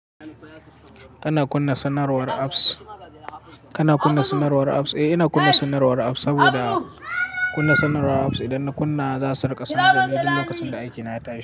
Kana kunna sanarwar apps? Kana kunna sanarwar apps? Eh, ina kunna sanarwar apps saboda kunna sanarwar apps idan na kunna za su raka sanar da ni duk lokacin da aiki na tayi.